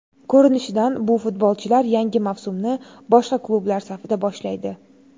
Ko‘rinishidan bu futbolchilar yangi mavsumni boshqa klublar safida boshlaydi.